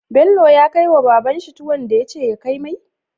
Bello ya kai wa baban shi tuwon da yace ya kai mai?